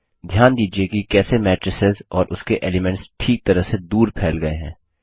ध्यान दीजिये की कैसे मैट्रिसेस और उसके एलीमेंट्स ठीक तरह से दूर फैल गये हैं